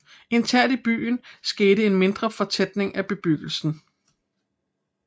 Internt i byen skete en mindre fortætning af bebyggelsen